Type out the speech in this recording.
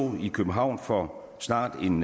i københavn for snart en